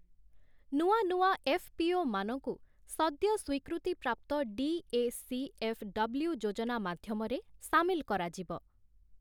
ନୂଆ ନୂଆ ଏଫ୍‌.ପି.ଓ.ମାନଙ୍କୁ, ସଦ୍ୟ ସ୍ୱୀକୃତିପ୍ରାପ୍ତ ଡି.ଏ.ସି.ଏଫ୍‌.ଡବ୍ଲ୍ୟୁ ଯୋଜନା ମାଧ୍ୟମରେ ସାମିଲ କରାଯିବ ।